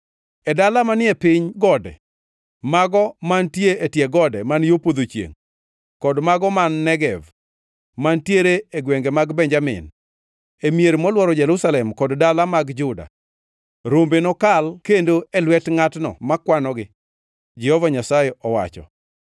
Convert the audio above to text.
E dala manie piny gode, mago mantie e tie gode man yo podho chiengʼ kod mago man Negev, mantiere e gwenge mag Benjamin, e mier molworo Jerusalem kod dala mag Juda, rombe nokal kendo e lwet ngʼatno ma kwanogi,’ Jehova Nyasaye owacho.